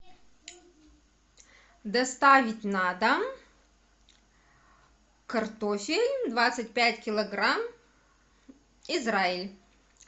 доставить на дом картофель двадцать пять килограмм израиль